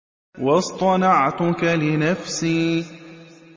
وَاصْطَنَعْتُكَ لِنَفْسِي